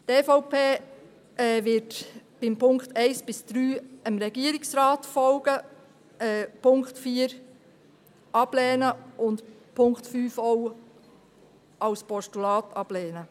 Die EVP wird in den Punkten 1 bis 3 dem Regierungsrat folgen, den Punkt 4 ablehnen und den Punkt 5 auch als Postulat ablehnen.